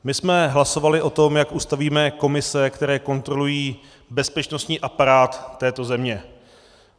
My jsme hlasovali o tom, jak ustavíme komise, které kontrolují bezpečnostní aparát této země.